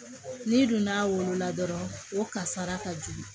N'i donn'a wolo la dɔrɔn o kasara ka jugu